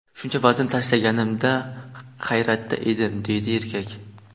Shuncha vazn tashlaganimda hayratda edim”, deydi erkak.